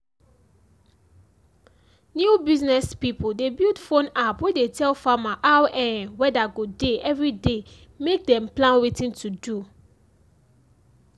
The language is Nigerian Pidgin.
new business pipo dey build phone app wey dey tell farmer how um weather go dey everyday mek dem plan wetin to do um